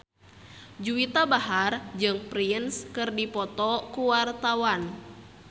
Juwita Bahar jeung Prince keur dipoto ku wartawan